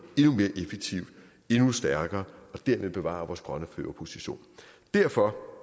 endnu mere effektivt endnu stærkere og derved bevare vores grønne førerposition derfor